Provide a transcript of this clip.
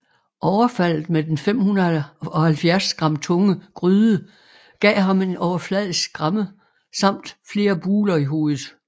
Overfaldet med den 570 gram tunge gryde gav ham en overfladisk skramme samt flere buler i hovedet